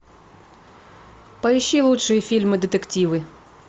поищи лучшие фильмы детективы